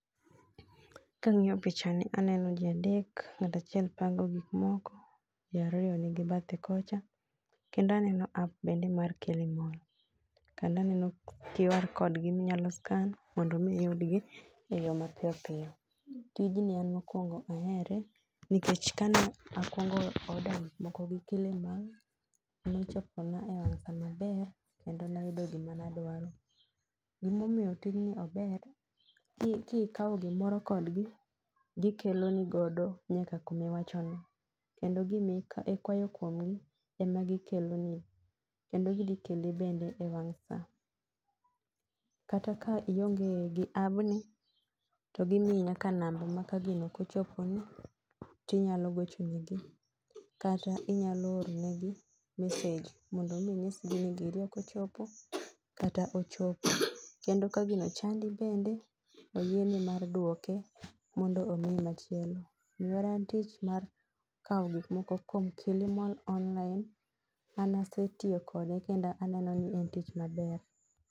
Kang'iyo pichani aneno jii adek, ng'at achiel pango gik moko, jii ariyo nigi bathe kocha. Kendo aneno app bende mar Kilimall. Kando aneno QR code gi minyalo scan mondo mi iyud gi eyo mapiyopiyo. Tijni an mokwongo ahere nikech kane akuongo order gik moko gi Kilimall, nochopo na e wang' sa maber kedo nayudo gima ne adwaro. Gimomiyo tijni ober, ki kikaw gimoro kodgi, gikelo ni godo nyaka kumi iwacho no. Kendo gimi ik ikwayo kuomgi ema gikeloni, kendo gidhi kele bende ewang' sa. Kata ka ionge gi abni, to gimiyi nyaka namba ma ka gino ok ochopo ni tinyalo gocho negi, kata inyalo oro negi message mondo mi inyisgi ni giri ok ochopo kata ochopo. Kendo ka gino chandi bende, oyieni mar duoke mondo omiyi machielo. mar kaw gik moko kuom Kilimall online, an asetiyo kode kendo aneno ni en tich maber